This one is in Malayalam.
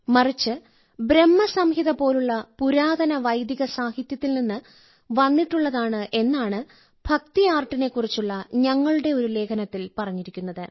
മറിച്ച് ബ്രഹ്മസംഹിത പോലുള്ള പുരാതന വൈദിക സാഹിത്യത്തിൽ നിന്ന് വന്നിട്ടുള്ളതാണ് എന്നാണ് ഭക്തി ആർട്ടിനെക്കുറിച്ചുള്ള ഞങ്ങളുടെ ഒരു ലേഖനത്തിൽ പറഞ്ഞിരിക്കുന്നത്